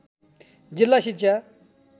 जिल्ला शिक्षा